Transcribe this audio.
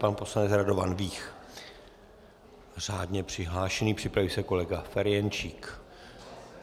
Pan poslanec Radovan Vích řádně přihlášený, připraví se kolega Ferjenčík.